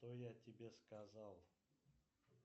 что я тебе сказал